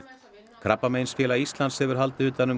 Krabbameinsfélag Íslands hefur haldið utan um